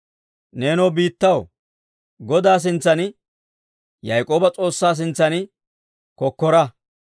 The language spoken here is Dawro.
Neenoo biittaw, Godaa sintsan, Yaak'ooba S'oossaa sintsan kokkora.